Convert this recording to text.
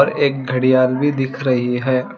एक घड़ियाल भी दिख रही है।